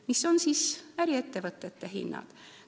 Mis on siis äriettevõtete hinnad?